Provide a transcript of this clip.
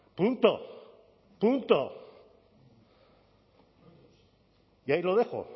punto punto y ahí lo dejo